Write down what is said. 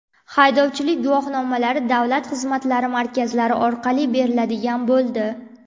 Haydovchilik guvohnomalari davlat xizmatlari markazlari orqali beriladigan bo‘ldi.